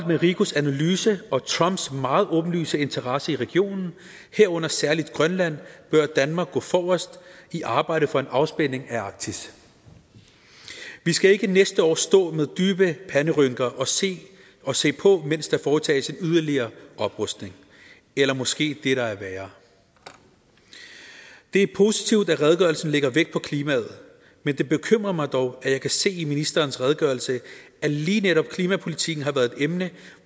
med rikos analyse og trumps meget åbenlyse interesse i regionen herunder særlig grønland bør danmark gå forrest i arbejdet for en afspænding af arktis vi skal ikke næste år stå med dybe panderynker og se på mens der foretages en yderligere oprustning eller måske det der er værre det er positivt at redegørelsen lægger vægt på klimaet men det bekymrer mig dog at jeg kan se i ministerens redegørelse at lige netop klimapolitikken har været et emne